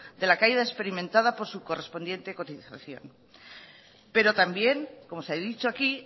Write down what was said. de la caída experimentada por su correspondiente cotización pero también como se ha dicho aquí